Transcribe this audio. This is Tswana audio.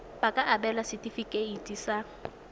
ba ka abelwa setefikeiti sa